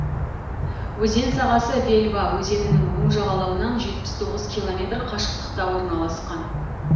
өзен сағасы велва өзенінің оң жағалауынан жетпіс тоғыз километр қашықтықта орналасқан